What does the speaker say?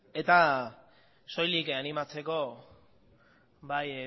soilik animatzeko bai